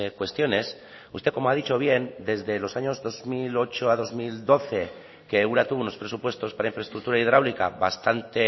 cuestiones usted como ha dicho bien desde los años dos mil ocho a dos mil doce que ura tuvo unos presupuestos para infraestructura hidráulica bastante